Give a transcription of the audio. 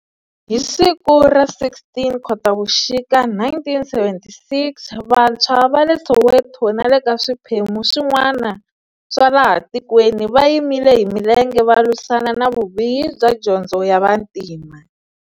Hi siku ra 16 Khotavuxika 1976, vantshwa va le Soweto na le ka swiphemu swin'wana swa laha tikweni va yimile hi milenge va lwisana na vubihi bya Dyondzo ya Vantima.